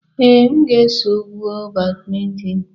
Ee, m ga-eso m gwuo badminton.